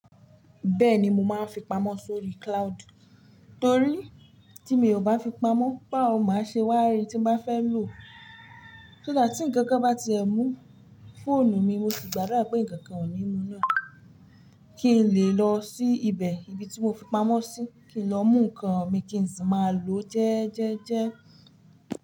Bẹ́ẹ̀ni, mo máa ń fi pamọ́ sórí cloud torí ti mio bá fi pamọ́ báwo n máa ṣe wa rí ti n bá fẹ́ lọ so that, tí ǹkankan bá ti ẹ mú fóònù mi mo sì gbàdá pé ǹkankan ò ní mú na, kí n lè lọ sí ibẹ̀ ibi tí mo fi pamọ́ síi, kí n lọ mú ǹkan mi kí ń sì máa ló jẹ́ẹ́jẹ́ je.